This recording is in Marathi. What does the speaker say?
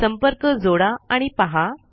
संपर्क जोडा आणि पहा